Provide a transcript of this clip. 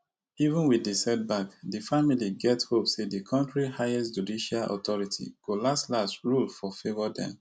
even wit di setback di family get hope say di kontri highest judicial authority go laslas rule for favour dem